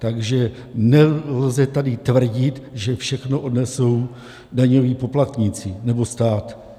Takže nelze tady tvrdit, že všechno odnesou daňoví poplatníci nebo stát.